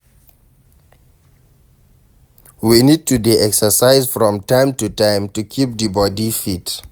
We need to dey exercise from time to time to keep di body fit